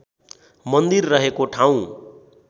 मन्दिर रहेको ठाउँ